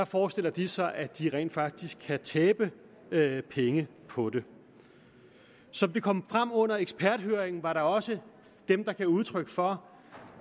forestiller de sig at de rent faktisk kan tabe penge på det som det kom frem under eksperthøringen var der også dem der gav udtryk for